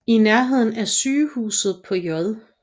I nærheden af sygehuset på J